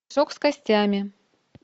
мешок с костями